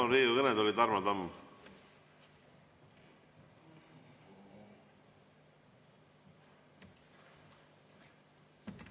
Palun Riigikogu kõnetooli, Tarmo Tamm!